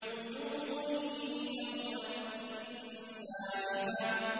وُجُوهٌ يَوْمَئِذٍ نَّاعِمَةٌ